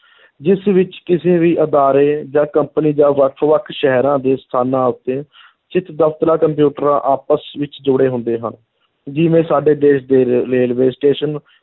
ਜਿਸ ਵਿੱਚ ਕਿਸੇ ਵੀ ਅਦਾਰੇ ਜਾਂ company ਜਾਂ ਵੱਖ-ਵੱਖ ਸ਼ਹਿਰਾਂ ਦੇ ਸਥਾਨਾਂ ਉੱਤੇ ਸਥਿਤ ਦਫ਼ਤਰਾਂ ਕੰਪਿਊਟਰਾਂ ਆਪਸ ਵਿੱਚ ਜੁੜੇ ਹੁੰਦੇ ਹਨ, ਜਿਵੇਂ ਸਾਡੇ ਦੇਸ਼ ਦੇ ਰੇ~ railway station